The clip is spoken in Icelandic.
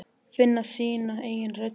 Finna sína eigin rödd þar.